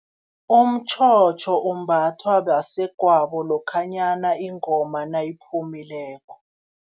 Umtjhotjho umbathwa basegwabo lokhanyana ingoma nayiphumileko.